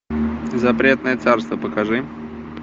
запретное царство покажи